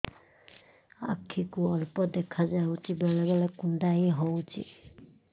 ଆଖି କୁ ଅଳ୍ପ ଦେଖା ଯାଉଛି ବେଳେ ବେଳେ କୁଣ୍ଡାଇ ହଉଛି